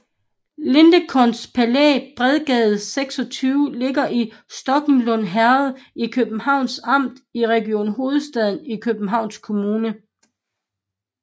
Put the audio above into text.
Lindencrones Palæ Bredgade 26 ligger i Sokkelund Herred i Københavns Amt i Region Hovedstaden i Københavns Kommune